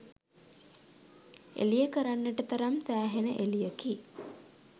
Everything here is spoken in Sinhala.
එළිය කරන්නට තරම් සෑහෙන එළියකි.